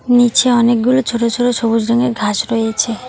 নীচে অনেকগুলো ছোট ছোট সবুজ রঙের ঘাস রয়েছে।